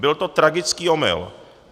Byl to tragický omyl.